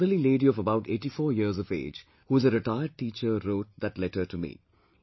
A motherly lady of about 84 years of age who is a retired teacher wrote that letter to me